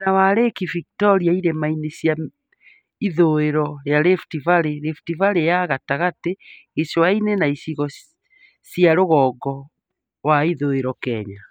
Mwena wa Lake Victoria, irĩma-inĩ cia ithũĩro rĩa Rift Valley, Rift valley ya gatagatĩ , gĩcũa-inĩ na icigo cia rũgongo wa ithũĩro Kenya